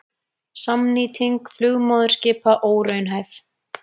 Samnýting flugmóðurskipa óraunhæf